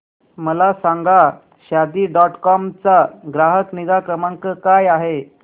मला सांगा Shaadi dot com चा ग्राहक निगा क्रमांक काय आहे